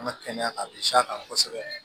An ka kɛnɛya a bɛ s'a kan kosɛbɛ